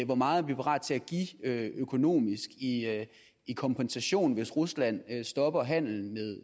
hvor meget vi er parat til at give økonomisk i i kompensation hvis rusland stopper handelen